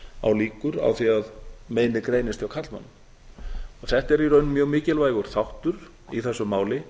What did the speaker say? á líkur á því að meinið greinist í karlmönnum þetta er í raun mjög mikilvægur þáttur í þessu máli